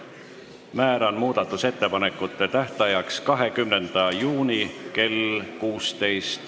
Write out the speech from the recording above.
Määran muudatusettepanekute tähtajaks 20. juuni kell 16.